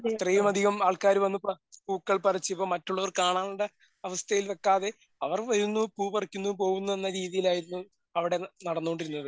അത്രയും അധികം ആൾക്കാര് വന്ന് പറി പൂക്കൾ പറിച്ച് ഇപ്പോ മറ്റുള്ളവർ കാണേണ്ട അവസ്ഥയിൽ വക്കാതെ അവർ വരുന്നു പൂ പറിക്കുന്നു പോകുന്നു എന്ന രീതിയിൽ ആയിരുന്നു അവിടെ നടന്നോണ്ടിരുന്നത്.